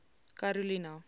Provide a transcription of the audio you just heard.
karolina